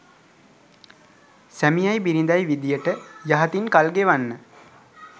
සැමියයි බිරිඳයි විදියට යහතින් කල් ගෙවන්න